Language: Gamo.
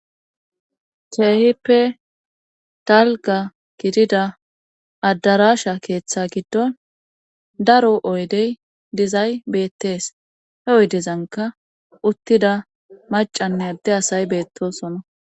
Keehippe talga kidida addarasha keeththe giddon daro oydey dizay beettees he oydizanka uttida macanne adde asay beettosona.